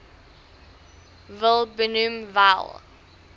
wil benoem wel